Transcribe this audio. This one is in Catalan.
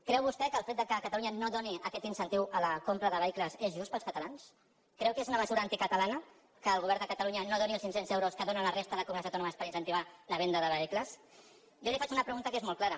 creu vostè que el fet que catalunya no doni aquest incentiu a la compra de vehicles és just per als catalans creu que és una me·sura anticatalana que el govern de catalunya no doni els cinc·cents euros que donen la resta de comunitats autònomes per incentivar la venda de vehicles jo li faig una pregunta que és molt clara